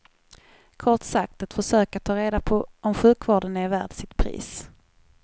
Kort sagt, ett försök att ta reda på om sjukvården är värd sitt pris.